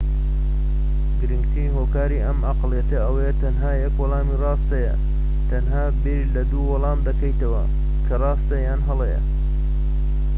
گرنگترین هۆکاری ئەم ئەقڵیەتە ئەوەیە : تەنیا یەک وەڵامی ڕاست هەیە. تەنها بیر لە دوو وەڵام دەکەیتەوە، کە راستە یان هەڵەیە